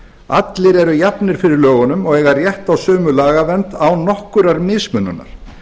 allir eru jafnir fyrir lögunum og eiga rétt á sömu lagavernd án nokkurrar mismununar